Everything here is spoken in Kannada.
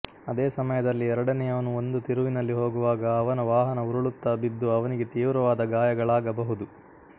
ಅದೇ ಸಮಯದಲ್ಲಿ ಎರಡನೆಯವನು ಒಂದು ತಿರುವಿನಲ್ಲಿ ಹೋಗುವಾಗ ಅವನ ವಾಹನ ಉರುಳುತ್ತಾ ಬಿದ್ದು ಅವನಿಗೆ ತೀವ್ರವಾದ ಗಾಯಗಳಾಗಬಹುದು